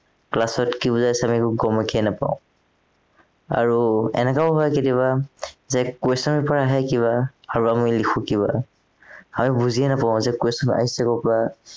class ত কি বুজাইছে আমি একো গমকে নাপাও আৰু এনেকুৱাও হয় কেতিয়াবা যে question paper আহে কিবা আৰু আমি লিখো কিবা, আমি বুজিয়েই নাপাও যে question আহিছে কৰ পৰা